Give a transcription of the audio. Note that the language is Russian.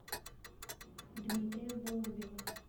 дмитрия голубева